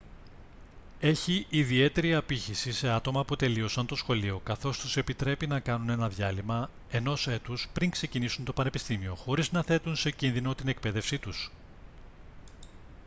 έχει ιδιαίτερη απήχηση σε άτομα που τελείωσαν το σχολείο καθώς τους επιτρέπει να κάνουν ένα διάλειμμα ενός έτους πριν ξεκινήσουν το πανεπιστήμιο χωρίς να θέτουν σε κίνδυνο την εκπαίδευσή τους